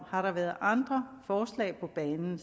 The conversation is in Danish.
har været andre forslag på banen